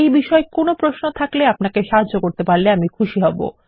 এই বিষয়ে ফসন থাকলে আপনাকে সাহায্য করতে পারলে খুশি হব